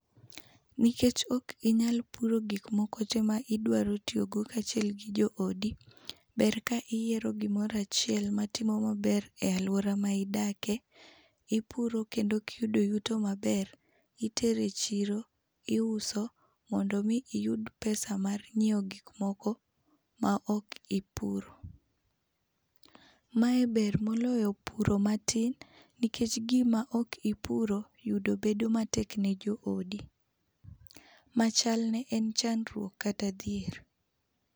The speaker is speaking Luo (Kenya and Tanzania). Nikech ok inyal puro gik moko tee ma idwaro tiyogo kaachiel gi joodi, ber ka iyiero gimoro achiel matimo maber e alwora ma idakie. Ipuro kendo kiyudo yuto maber, itero echiro, iuso mondo mi iyud pesa mar nyiewo gik moko maok ipuro. Mae ber moloyo puro matin, nikech gima ok ipuro yudo bedo matek ne joodi. Machalne en chandruok kata dhier.